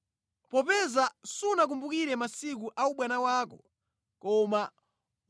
“ ‘Popeza sunakumbukire masiku a ubwana wako koma